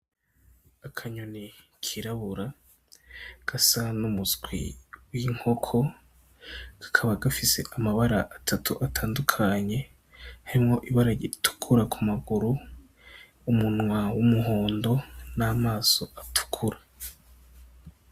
Akanyoni kirabura gasa n' umuswi w' inkoko kakaba gafise amabara atatu atandukanye harimwo ibara ritukura kumaguru, umunwa w' umuhondo n' amaso atukura .